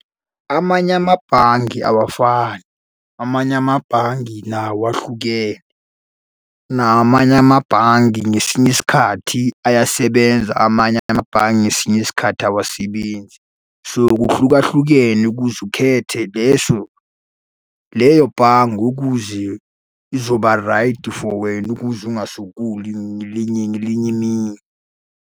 Amanye amabhange awafani, amanye amabhangi nawo ahlukene. Nawo amanye amabhangi ngesinye isikhathi ayasebenza, amanye amabhangi ngesinye isikhathi awasebenzi. So, kuhlukahlukene ukuze ukhethe leso leyo bhange ukuze izoba raydi for wena ukuze ungasokoli linye ngelinye imini.